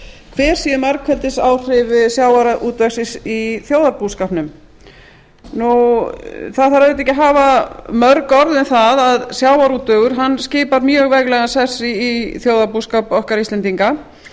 hver séu margfeldisáhrif sjávarútvegs í þjóðarbúskapnum það þarf auðvitað ekki að hafa mörg orð um það að sjávarútvegur skipar mjög veglegan sess í þjóðarbúskap okkar íslendinga